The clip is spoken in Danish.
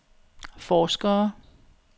forskere